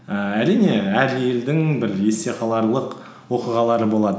ііі әрине әр елдің бір есте қаларлық оқиғалары болады